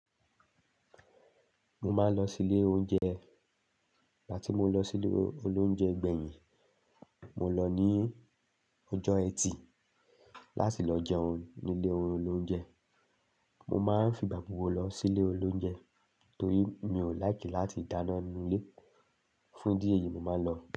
Mo máa ń lọ sí ilé oúnjẹ. Ìgbà tí mo lọ sí ilé olóúnjẹ gbẹ̀yìn, mo lọ ní ọjọ́ Ẹtì láti lọ jẹun ní ilé olóúnjẹ. Mo máa ń fi ìgbà gbogbo lọ sí ilé olóúnjẹ torí mi ò láìkí láti dáná nínú ilé. Fún ìdí èyí, mo máa ń lọ.